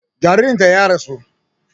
Jaririn ta ya rasu